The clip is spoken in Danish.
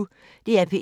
DR P1